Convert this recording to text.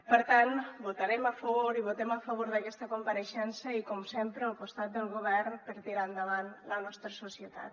per tant votarem a favor i votem a favor d’aquesta compareixença i com sempre al costat del govern per tirar endavant la nostra societat